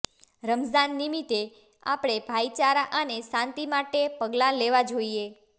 રમઝાન નિમિત્તે આપણે ભાઈચારા અને શાંતિ માટે પગલા લેવા જોઈએ